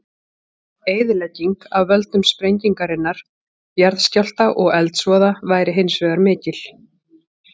Eyðilegging af völdum sprengingarinnar, jarðskjálfta og eldsvoða væri hins vegar mikil.